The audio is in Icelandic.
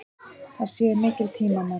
Það séu mikil tímamót.